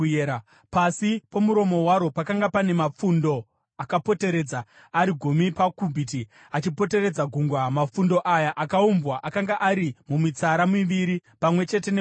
Pasi pomuromo waro pakanga pane mapfundo akapoteredza, ari gumi pakubhiti, achipoteredza gungwa. Mapfundo aya akaumbwa akanga ari mumitsara miviri, pamwe chete neGungwa.